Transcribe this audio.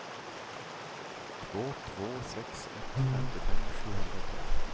två två sex ett femtiofem sjuhundratrettio